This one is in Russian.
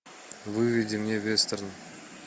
выведи мне вестерн